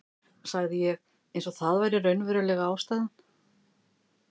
sagði ég eins og það væri raunverulega ástæðan.